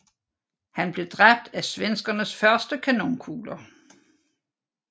Han blev dræbt af svenskernes første kanonkugler